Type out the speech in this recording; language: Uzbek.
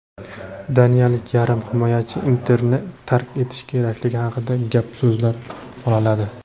Daniyalik yarim himoyachi "Inter"ni tark etishi kerakligi haqida gap-so‘zlar "bolaladi".